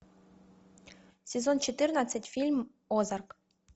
сезон четырнадцать фильм озарк